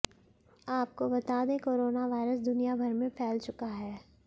आपको बता दें कोरोना वायरस दुनियाभर में फैल चुका है